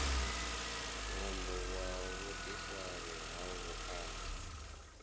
ṅwambo wa vhuḓifari ha vhuaḓa